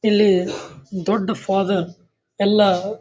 ಇಲ್ಲಿ ದೊಡ್ಡ ಫಾದರ್ ಎಲ್ಲಾ--